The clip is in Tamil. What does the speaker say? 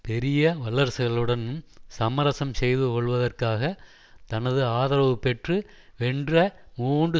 பெரிய வல்லரசுகளுடன் சமரசம் செய்து கொள்வதற்காக தனது ஆதரவு பெற்று வென்ற மூன்று